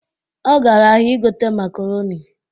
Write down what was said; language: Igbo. Ọ gara ahịa ịgote makaronị